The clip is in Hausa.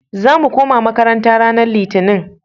Za mu koma makaranta ranan Litinin.